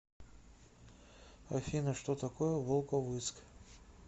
афина что такое волковыск